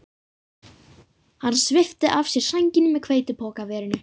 Hann svipti af sér sænginni með hveitipokaverinu